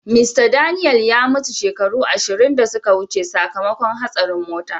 Mista Daniel ya mutu shekaru ashirin da suka wuce sakamakon hastarin mota.